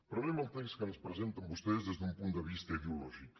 però anem al text que ens presenten vostès des d’un punt de vista ideològic